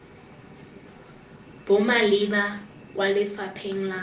bo maleba kwa lefapheng la